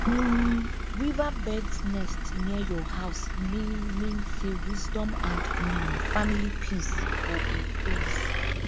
um weaverbirds nest near your house mean mean say wisdom and um family peace go increase